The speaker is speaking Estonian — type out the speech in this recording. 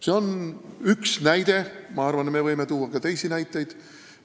See on üks näide ja ma arvan, me võime tuua ka teisi näiteid.